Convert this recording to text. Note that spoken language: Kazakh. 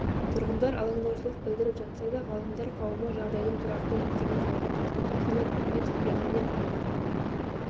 тұрғындар алаңдаушылық білдіріп жатса да ғалымдар қауымы жағдайдың тұрақты екенін алға тартуда қанат ахметов биология ғылымдарының